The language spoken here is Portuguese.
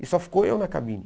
E só ficou eu na cabine.